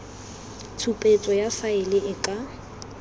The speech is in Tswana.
tshupetso ya faele e ka